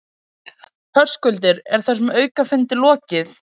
Höskuldur, er þessum aukafundi lokið?